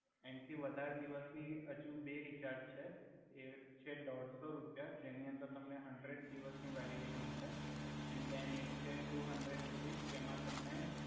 એંન્થી વધારે દિવસની હજુ બે રિચાર્જ છે એક છે ડોઢસો રુપિયા જેનિ અંદર તમને હંડ્રેડ દિવસની વેલિડિટિ મલે એન ધેન એક છે ટુ હંડ્રેડ રુપીસ જેમા તમને